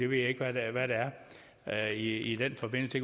ved ikke hvad det er i den forbindelse